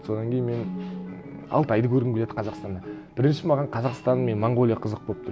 содан кейін мен алтайды көргім келеді қазақстанда бірінші маған қазақстан мен монғолия қызық болып тұр